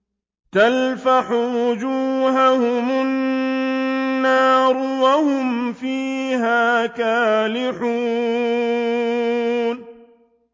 تَلْفَحُ وُجُوهَهُمُ النَّارُ وَهُمْ فِيهَا كَالِحُونَ